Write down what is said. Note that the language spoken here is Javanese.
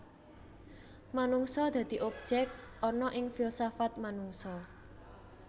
Manungsa dadi objek ana ing filsafat manungsa